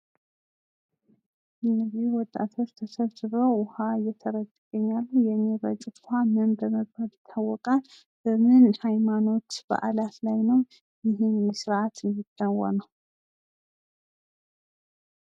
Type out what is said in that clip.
እነዚህ ወጣቶች ተሰብስበው ዉሃ እየጠረጩ ይገኛሉ ::ይህ የሚረጩት ምን በመባል ይታወቃል? በምን ሃይማኖት ስርዓት ላይ ነው ይህ ስርዓት የሚከወነው?